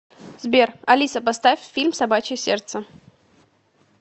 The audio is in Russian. сбер алиса поставь фильм собачье сердце